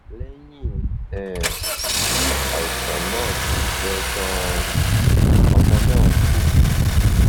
lẹyìn um tí àìsàn náà ti pẹ ganan ọmọ náà kú